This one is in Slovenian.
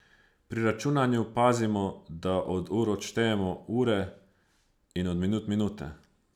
Pri računanju pazimo, da od ur odštejemo ure in od minut minute.